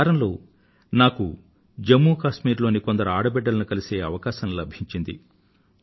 గత వారమే జమ్ము కశ్మీర్ లోని కొందరు ఆడ బిడ్డలను కలిసే అవకాశం నాకు దక్కింది